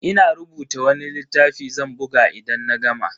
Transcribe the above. Ina rubuta wani littafi zan buga idan na gama.